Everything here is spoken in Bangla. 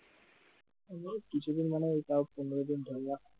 ওই কিছুদিন মানে তাও পনেরো দিন ধরে